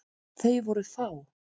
Þau voru fá.